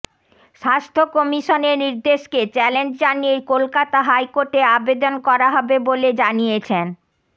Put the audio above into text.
স্বাস্থ্য কমিশনের নির্দেশকে চ্যালেঞ্জ জানিয়ে কলকাতা হাইকোর্টে আবেদন করা হবে বলে জানিয়েছেন